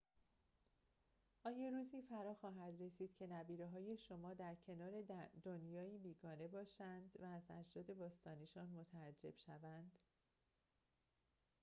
آیا روزی فراخواهد رسید که نبیره‌های شما در کنار دنیایی بیگانه باشند و از اجداد باستانی‌شان متعجب شوند